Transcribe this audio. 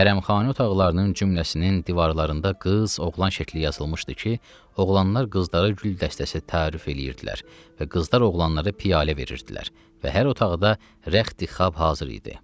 Hərəmxane otaqlarının cümələsinin divarlarında qız, oğlan şəkli yazılmışdı ki, oğlanlar qızlara gül dəstəsi təarüf eləyirdilər və qızlar oğlanlara piyalə verirdilər və hər otaqda rəxti xab hazır idi.